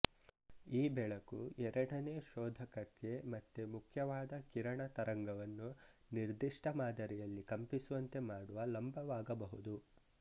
ಈ ಬೆಳಕು ಎರಡನೇ ಶೋಧಕಕ್ಕೆ ಮತ್ತೆ ಮುಖ್ಯವಾದ ಕಿರಣ ತರಂಗವನ್ನು ನಿರ್ದಿಷ್ಟ ಮಾದರಿಯಲ್ಲಿ ಕಂಪಿಸುವಂತೆ ಮಾಡುವ ಲಂಬವಾಗಬಹುದು